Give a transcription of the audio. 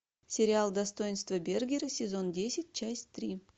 сериал достоинство бергера сезон десять часть три